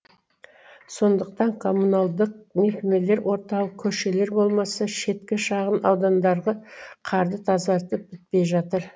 сондықтан коммуналдық мекемелер орталық көшелер болмаса шеткі шағын аудандарды қарды тазартып бітпей жатыр